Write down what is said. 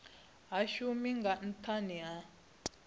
shumi nga nthani ha uri